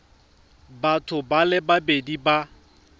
batho ba le babedi ba